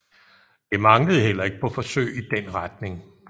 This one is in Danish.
Det manglede heller ikke på forsøg i den retning